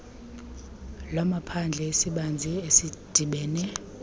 lwamaphandle esibanzi esidibene